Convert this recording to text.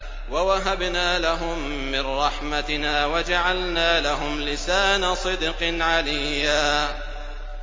وَوَهَبْنَا لَهُم مِّن رَّحْمَتِنَا وَجَعَلْنَا لَهُمْ لِسَانَ صِدْقٍ عَلِيًّا